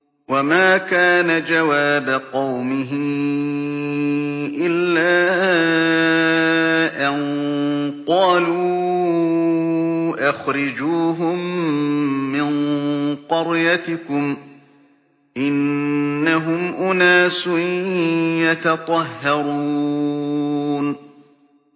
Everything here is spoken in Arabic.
وَمَا كَانَ جَوَابَ قَوْمِهِ إِلَّا أَن قَالُوا أَخْرِجُوهُم مِّن قَرْيَتِكُمْ ۖ إِنَّهُمْ أُنَاسٌ يَتَطَهَّرُونَ